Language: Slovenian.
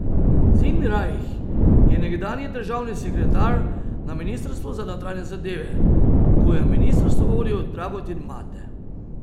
Zinrajh je nekdanji državni sekretar na ministrstvu za notranje zadeve, ko je ministrstvo vodil Dragutin Mate.